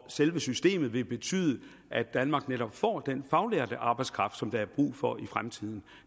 selve systemet vil betyde at danmark netop får den faglærte arbejdskraft som der er brug for i fremtiden